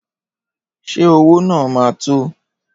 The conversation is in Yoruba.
Ṣé owó náà ma tó?